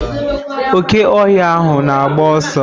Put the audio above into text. Oke ohia ahụ na agba ọsọ.